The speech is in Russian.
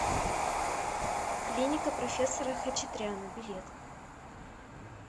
клиника профессора хачатряна билет